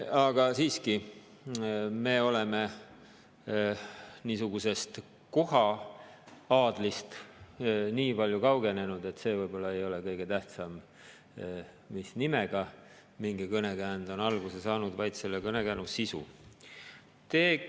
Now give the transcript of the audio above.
Aga siiski, me oleme niisugusest koha-aadlist nii palju kaugenenud, et see võib-olla ei ole kõige tähtsam, mis nimega mingi kõnekäänd on alguse saanud, vaid selle kõnekäänu sisu.